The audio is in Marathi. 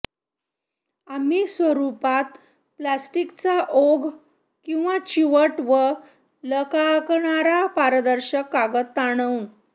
आम्ही स्वरूपात प्लास्टिकच्या ओघ किंवा चिवट व लकाकणारा पारदर्शक कागद ताणून